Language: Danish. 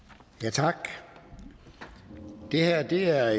tak så er det herre